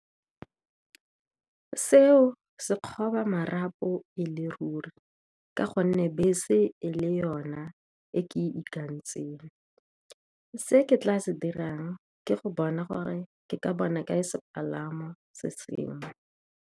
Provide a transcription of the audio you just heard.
Seo se kgoba marapo e le ruri, ka gonne bese e le yona e ke ikanetsweng. Se ke tla se dirang ke go bona gore ke ka bona ka e sepalamo se seng.